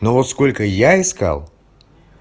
ну вот сколько я искал